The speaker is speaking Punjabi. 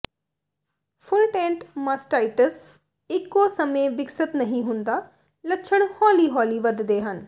ਫੁੱਲਟੈਂਟ ਮਾਸਟਾਈਟਸ ਇਕੋ ਸਮੇਂ ਵਿਕਸਤ ਨਹੀਂ ਹੁੰਦਾ ਲੱਛਣ ਹੌਲੀ ਹੌਲੀ ਵਧਦੇ ਹਨ